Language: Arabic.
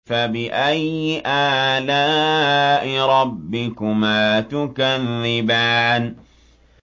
فَبِأَيِّ آلَاءِ رَبِّكُمَا تُكَذِّبَانِ